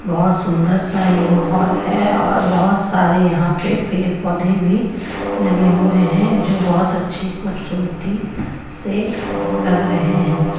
बहुत सुंदर सा ये माहौल है और बहुत सारे यहां पे पेड़ पौधे भी लगे हुए हैं जो बहुत अच्छी खूबसूरती से लग रहे हैं.